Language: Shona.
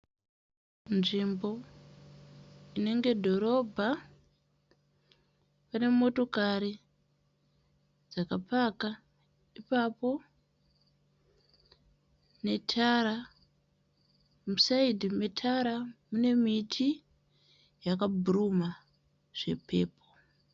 Nzvimbo inenge dhorobha. Pane motokari dzakapaka ipapo netara. Musaidhi metara mune miti yakabhuruma zvepepo.